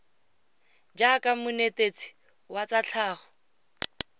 jaaka monetetshi wa tsa tlhago